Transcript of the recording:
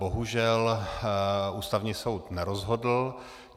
Bohužel Ústavní soud nerozhodl.